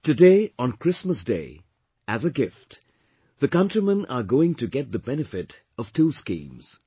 Today, on Christmas Day, as a gift the countrymen are going to get the benefit of two schemes